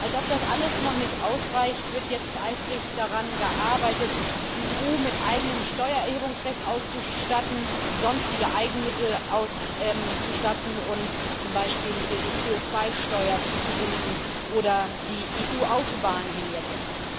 Und als ob das alles noch nicht ausreicht, wird jetzt eifrig daran gearbeitet, die EU mit eigenem Steuererhebungsrecht auszustatten, mit sonstigen Eigenmitteln auszustatten und ihr zum Beispiel die CO2-Steuer zuzubilligen oder die EU-Autobahnvignette.